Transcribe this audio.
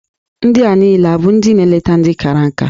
Ndị a niile abụ ndị na-eleta ndị kara nka?